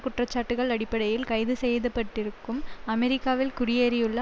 குற்றச்சாட்டுக்கள் அடிப்படையில் கைது செய்துப்பட்டிருக்கும் அமெரிக்காவில் குடியேறியுள்ள